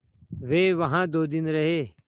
वे वहाँ दो दिन रहे